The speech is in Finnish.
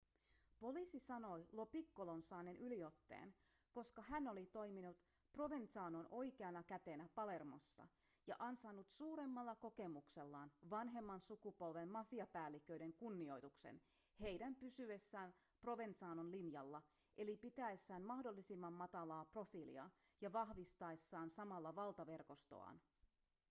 poliisi sanoi lo piccolon saaneen yliotteen koska hän oli toiminut provenzanon oikeana kätenä palermossa ja ansainnut suuremmalla kokemuksellaan vanhemman sukupolven mafiapäälliköiden kunnioituksen heidän pysyessään provenzanon linjalla eli pitäessään mahdollisimman matalaa profiilia ja vahvistaessaan samalla valtaverkostoaan